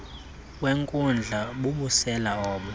wenkundla bubusela obo